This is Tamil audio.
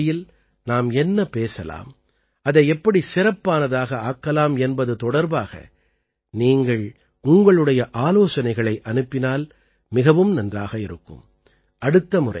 100ஆவது பகுதியில் நாம் என்ன பேசலாம் அதை எப்படி சிறப்பானதாக ஆக்கலாம் என்பது தொடர்பாக நீங்கள் உங்களுடைய ஆலோசனைகளை அனுப்பினால் மிகவும் நன்றாக இருக்கும்